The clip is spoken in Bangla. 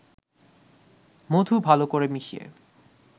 মধু ভালো করে মিশিয়ে